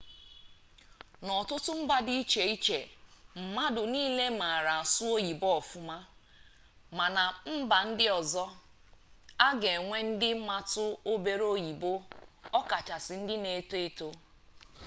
n'ọtụtụ mba dị iche iche mmadụ niile maara asụ oyibo ọfụma ma na mba ndị ọzọ a ga-enwe ndị matụ obere oyibo ọkachasị ndị na-eto eto